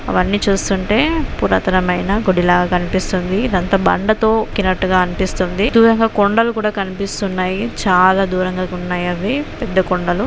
అవన్నీ చూస్తుంటే పురాతనమైన గుడిలాగా కనిపిస్తుంది. ఇదంతా బండతోక్కినట్టుగా అనిపిస్తుంది. దూరంగా కొండలు కూడా కనిపిస్తున్నాయి. చాలా దూరంగా ఉన్నాయి అవి. పెద్ద కొండలు.